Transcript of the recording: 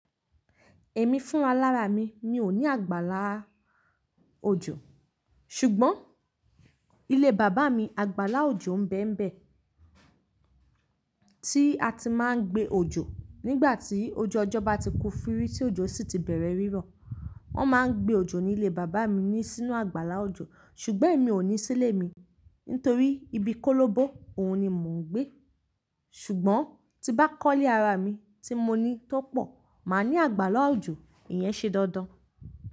Èmi fún alára mi, mi ò ní àgbàlá òjò. Ṣùgbọ́n ilé bàbá mi, àgbàlá òjò ń bẹ́ ń bẹ́ tí a ti maa ń gbé òjò. Nígbà tí ojú ọjọ́ bá ti ku firi tí òjò sì ti bẹ̀rẹ̀ rírọ̀, wón máa ń gbé òjò ní ilé bàbá mi ní sínú àgbàlá òjò. Ṣùgbọ́n èmi ò ní sílé mi nítorí ibi kólóbo, òun ni mò ń gbé. Ṣùgbọ́n tí bá kọ́lé ara mi tí mo ní tó pọ̀, màá ní àgbàlá òjò. Ìyẹn ṣe dandan.